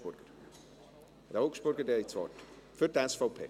Herr Augstburger, Sie haben das Wort für die SVP.